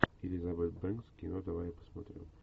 элизабет бэнкс кино давай я посмотрю